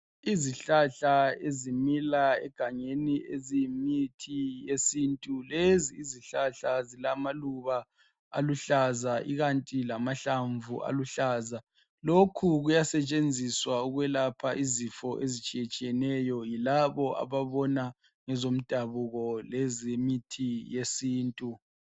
Izihlahla ezimila egangeni ziyimithi ikakhulu lezi esilamaluba lamahlanvu aluhlaza ziyasetshenziswa ukulapha izifo ezitshiyeneyo kulabo ababona ngezomdabuko lomuthi wesintu.